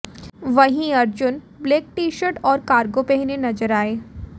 वहीं Arjun black T shirt और cargo पहने नजर आए